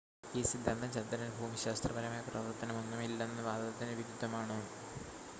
ഈ സിദ്ധാന്തം ചന്ദ്രന് ഭൂമിശാസ്ത്രപരമായ പ്രവർത്തനമൊന്നും ഇല്ലെന്ന വാദത്തിന് വിരുദ്ധമാണ്